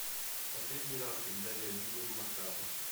последний раз когда я видел макао